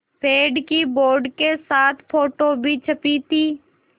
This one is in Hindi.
पेड़ की बोर्ड के साथ फ़ोटो भी छपी थी